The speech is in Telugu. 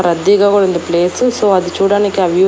రద్దీగా కూడా ఉంది ప్లేసు సో అది చూడడానికి ఆ వ్యూ.